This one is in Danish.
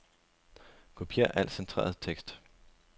Kopier al centreret tekst.